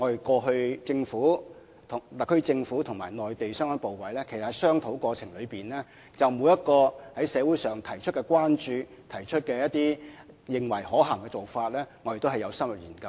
過去特區政府和內地相關部委在商討過程中，就社會上提出的關注或認為一些可行的做法也有深入研究。